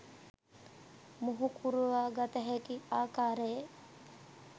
මුහුකුරවා ගත හැකි ආකාරයේ